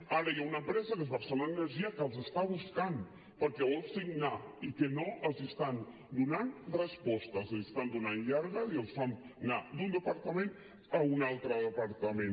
ara hi ha una empresa que és barcelona energia que els està buscant perquè vol signar i que no els estan donant respostes els estan donant llargues i els fan anar d’un departament a un altre departament